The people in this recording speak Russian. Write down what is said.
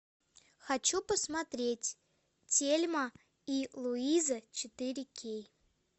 хочу посмотреть тельма и луиза четыре кей